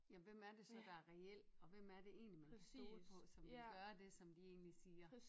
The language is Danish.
Ja hvem er det så der er reel og hvem er det egentlig man kan stole på som vil gøre det som de egentlig siger